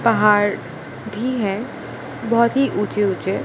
पहाड़ भी है बहोत ही ऊंचे ऊंचे।